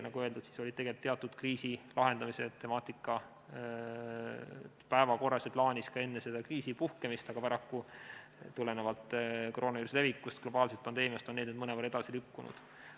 Nagu öeldud, siis oli teatud kriisi lahendamise temaatika päevakorral ja plaanis ka enne selle kriisi puhkemist, aga paraku on see tulenevalt koroonaviiruse levikust ja globaalsest pandeemiast mõnevõrra edasi lükkunud.